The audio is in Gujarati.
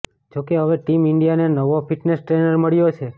જો કે હવે ટીમ ઇન્ડિયાને નવો ફિટનેસ ટ્રેનર મળ્યો છે